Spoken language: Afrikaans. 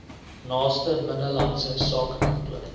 naaste binnelandse sakekantoor